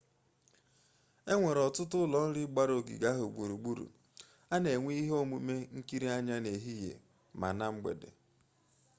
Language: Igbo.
enwere ọtụtụ ụlọ nri gbara ogige ahụ gburugburu a na enwe ihe omume nkere anya n'ehihie ma na mgbede